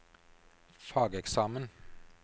fageksamen